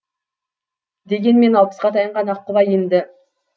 дегенмен алпысқа таянған аққұба енді